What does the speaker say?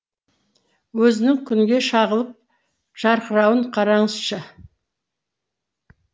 өзінің күнге шағылып жарқырауын қараңызшы